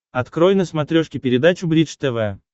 открой на смотрешке передачу бридж тв